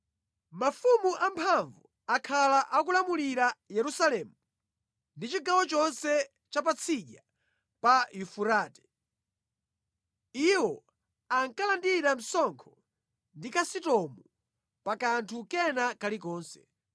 Mafumu amphamvu akhala akulamulira Yerusalemu ndi chigawo chonse cha Patsidya pa Yufurate. Iwo ankalandira msonkho ndi kulipira ndalama zakatundu olowa mʼdziko pa kanthu kena kalikonse.